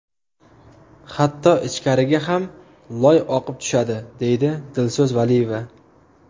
Hatto ichkariga ham loy oqib tushadi, deydi Dilso‘z Valiyeva.